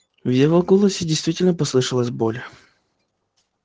в его голосе действительно послышалась боль